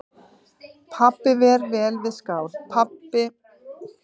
Pabbi var vel við skál og þau spiluðu háværa músík og dönsuðu hlæjandi um stofuna.